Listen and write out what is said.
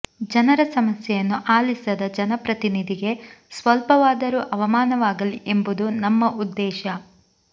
ಜನರ ಸಮಸ್ಯೆಯನ್ನು ಆಲಿಸದ ಜನಪ್ರತಿನಿಧಿಗೆ ಸ್ವಲ್ಪವಾದರೂ ಅವಮಾನವಾಗಲಿ ಎಂಬುದು ನಮ್ಮ ಉದ್ದೇಶ